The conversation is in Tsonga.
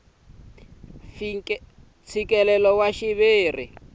mfikelelo wa xiviri ehenhla ka